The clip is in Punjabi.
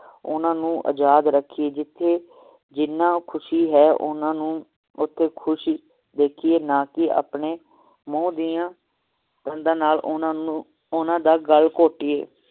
ਓਹਨਾ ਨੂੰ ਆਜ਼ਾਦ ਰਖੀਏ ਜਿਥੇ ਜ੍ਹਿਨਾਂ ਖੁਸ਼ੀ ਹੈ ਓਹਨਾਂ ਨੂੰ ਓਥੇ ਖੁਸ਼ ਦੇਖੀਏ ਨਾ ਕਿ ਆਪਣੇ ਮੂੰਹ ਦੀਆਂ ਦੰਦ ਨਾਲ ਓਹਨਾ ਨੂੰ ਓਹਨਾਂ ਦਾ ਗੱਲ ਘੋਟਿਏ